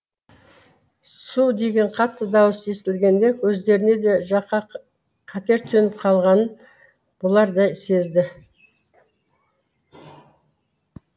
су деген қатты дауыс естілгенде өздеріне де жаққа қатер төніп қалғанын бұлар да сезді